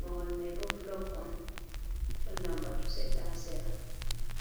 mahol mai bo bulok on ɗon lamba two seɗɗa ha sera.